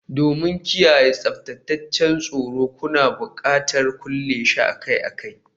Domin kiyaye tsaftataccen tsoro, kuna buƙatar kulle shi akai-akai